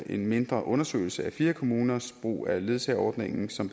en mindre undersøgelse af fire kommuners brug af ledsageordningen som